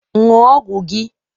Ṅụọ ọgwụ gị!